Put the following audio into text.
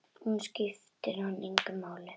Hún skipti hann engu máli.